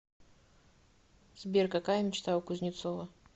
сбер какая мечта у кузнецова